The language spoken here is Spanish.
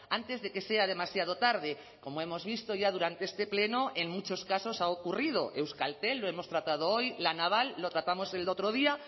antes de que sea demasiado tarde como hemos visto ya durante este pleno en muchos casos ha ocurrido euskaltel lo hemos tratado hoy la naval lo tratamos el otro día